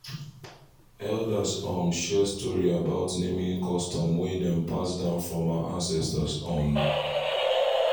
elders um share story about naming custom wey dem pass down from our ancestors um